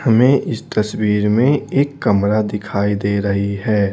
हमें इस तस्वीर में एक कमरा दिखाई दे रही है।